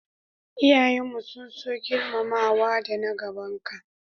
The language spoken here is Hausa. iyayen mu sun so girmamawa da na gaban ka